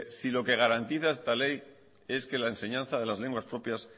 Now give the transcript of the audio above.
si lo que garantiza esta ley es que la enseñanza de las lenguas propias